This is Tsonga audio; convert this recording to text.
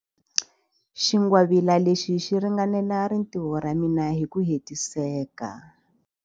Xingwavila lexi xi ringanela rintiho ra mina hi ku hetiseka.